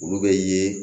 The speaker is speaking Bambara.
Olu bɛ ye